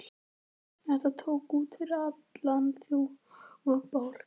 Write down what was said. Þetta tók út yfir allan þjófabálk!